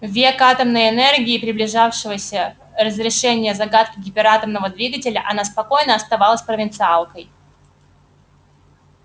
в век атомной энергии и приближавшегося разрешения загадки гиператомного двигателя она спокойно оставалась провинциалкой